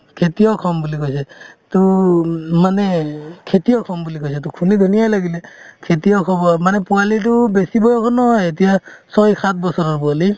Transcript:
খেতিয়ক হ'ম বুলি কৈছে to উম মানে খেতিয়ক হ'ম বুলি কৈছে to শুনি ধুনীয়াই লাগিলে খেতিয়ক হ'ব মানে অ পোৱালিটো বেছি বয়সৰ নহয় এতিয়া ছয় সাত বছৰৰ পোৱালি